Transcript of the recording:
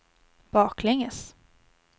baklänges